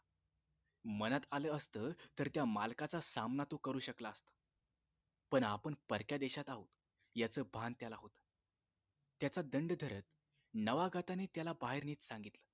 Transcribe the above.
मनात आलं असत तर त्या मालकाचा सामना तो करू शकला असता पण आपण परक्या देशात आहोत याच भान त्याला होत त्याचा दंड धरत नवागताने त्याला बाहेर नेत सांगितले